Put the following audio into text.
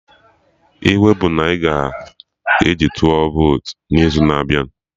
I wey bụ na ị ga-eji tụọ votu n'izu na-abịa